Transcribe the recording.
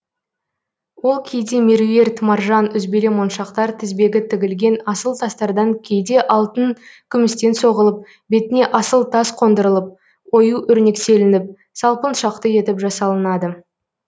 ол кейде меруерт маржан үзбелі моншақтар тізбегі тігілген асыл тастардан кейде алтын күмістен соғылып бетіне асыл тас қондырылып ою өрнектелініп салпыншақты етіп жасалынады